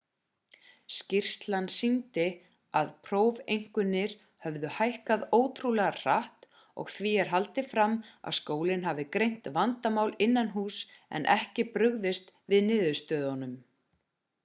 skýrslan sýndi að prófeinkunnir höfðu hækkað ótrúlega hratt og því er haldið fram að skólinn hafi greint vandamál innanhúss en ekki brugðist við niðurstöðunum